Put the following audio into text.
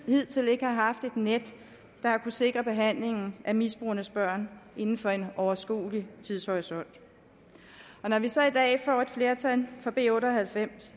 hidtil ikke har haft et net der kunne sikre behandlingen af misbrugernes børn inden for en overskuelig tidshorisont når vi så i dag får et flertal for b otte og halvfems